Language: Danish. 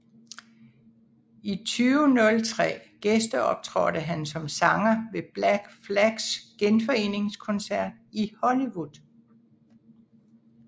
I 2003 gæsteoptrådte han som sanger ved Black Flags genforeningskoncert i Hollywood